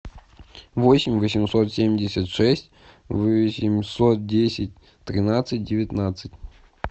восемь восемьсот семьдесят шесть восемьсот десять тринадцать девятнадцать